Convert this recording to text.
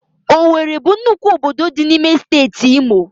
Owere bụ nnukwu obodo dị n'Steeti Imo.